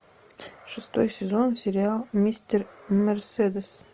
шестой сезон сериал мистер мерседес